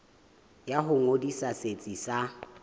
ya ho ngodisa setsi sa